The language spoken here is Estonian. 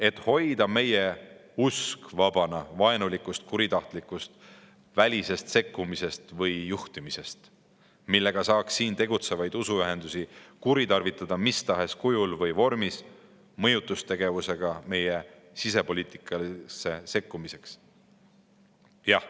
Et hoida meie usuelu vabana vaenulikust kuritahtlikust välisest sekkumisest või juhtimisest, millega saaks siin tegutsevaid usuühendusi kuritarvitada mis tahes kujul või vormis mõjutustegevusega meie sisepoliitikasse sekkumiseks.